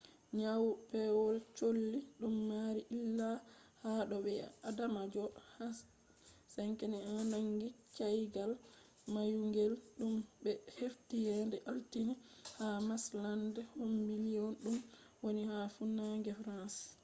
nyau pewol cholli dum mari illa ha do bi'adamajo h5n1 nangi caygal mayungel dum be hefti yende altine ha marshland kombi lyon dum woni ha funange france